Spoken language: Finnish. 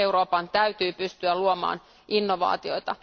Euroopan täytyy pystyä luomaan innovaatioita.